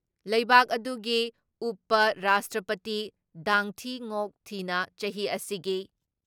ꯂꯩꯕꯥꯛ ꯑꯗꯨꯒꯤ ꯎꯄ ꯔꯥꯁꯇ꯭ꯔꯄꯇꯤ ꯗꯥꯡ ꯊꯤ ꯉꯣꯛ ꯊꯤꯅ ꯆꯍꯤ ꯑꯁꯤꯒꯤ